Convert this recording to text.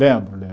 Lembro, lembro.